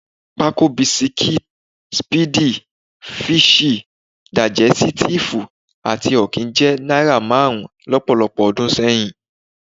Pákó bisikí, speedy, fíṣì, dàìjẹ́sítíìfù àti ọ̀kín jẹ́ náírà márùn-ún lọ́pọ̀lọpọ̀ ọdún sẹ́yìn